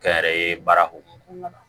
Kɛ n yɛrɛ ye baarako la